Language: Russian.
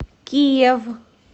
киев